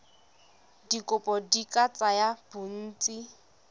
dikopo di ka tsaya bontsi